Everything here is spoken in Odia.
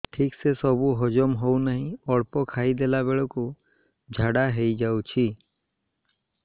ଠିକସେ ସବୁ ହଜମ ହଉନାହିଁ ଅଳ୍ପ ଖାଇ ଦେଲା ବେଳ କୁ ଝାଡା ହେଇଯାଉଛି